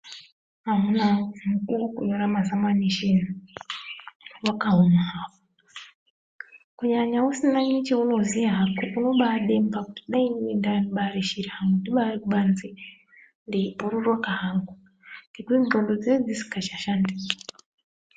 Amunaa woye mukuwo wekunyora mazamanisheni wakaoma hawo. Kunyanya usina necheunoziya hako unobaademba kuti kudai inini ndaiya ndibaari shiri hangu ndibaari kubanze ndeibhururuka hangu. Ngekuti ndxondo dzinenge dzisikachashandi.